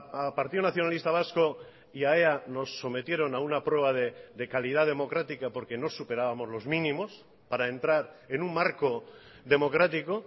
al partido nacionalista vasco y a ea nos sometieron a una prueba de calidad democrática porque no superábamos los mínimos para entrar en un marco democrático